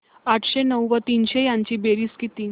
आठशे नऊ व तीनशे यांची बेरीज किती